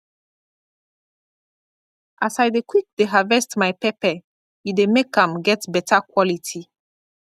as i dey quick dey harvest my pepper e dey make am get better quality